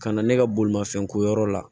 Ka na ne ka bolimafɛn ko yɔrɔ la